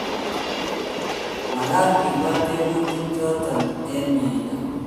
Magat ke buat tebutik chotok eng' miendo